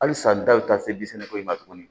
Hali san daw bɛ taa se ko in ma tuguni